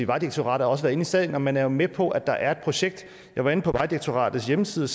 vejdirektoratet også inde i sagen og man er jo med på at der er et projekt jeg var inde på vejdirektoratets hjemmeside